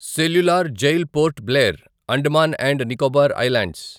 cellular jail Port Blair, Andaman and Nicobar islands